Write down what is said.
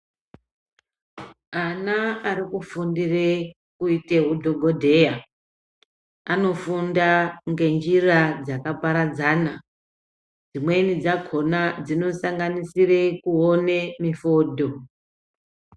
Ana ari kufundire kuite hudhokodheya anofunda nenjira dzakaparadzana dzimweni dzakona dzinosanganisire kuone mifodho.